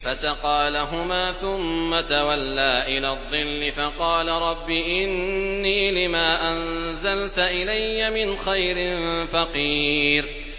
فَسَقَىٰ لَهُمَا ثُمَّ تَوَلَّىٰ إِلَى الظِّلِّ فَقَالَ رَبِّ إِنِّي لِمَا أَنزَلْتَ إِلَيَّ مِنْ خَيْرٍ فَقِيرٌ